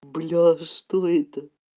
бля да что это